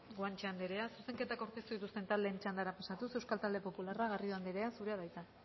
guanche andrea zuzenketak aurkeztu dituzten taldeen txandara pasatuz eusko talde popularrak garrido andrea zurea da hitza